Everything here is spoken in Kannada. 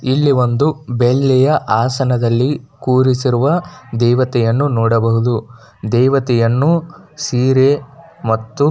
ಇಲ್ಲಿ ಒಂದು ಬೆಳ್ಳಿಯ ಆಸನದಲ್ಲಿ ಕೂರಿಸಿರುವ ದೇವತೆಯನ್ನು ನೋಡಬಹುದು ದೇವತೆಯನ್ನು ಸೀರೆ ಮತ್ತು --